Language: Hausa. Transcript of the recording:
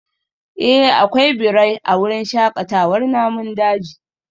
Eh akwai birai a wurin shakatawar namun daji